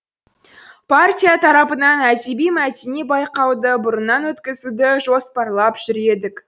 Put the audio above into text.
партия тарапынан әдеби мәдени байқауды бұрыннан өткізуді жоспарлап жүр едік